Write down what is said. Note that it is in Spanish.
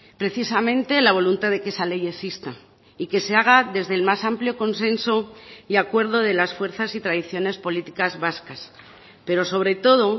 precisamente la voluntad de que esa ley exista y que se haga desde el más amplio consenso y acuerdo de las fuerzas y tradiciones políticas vascas pero sobre todo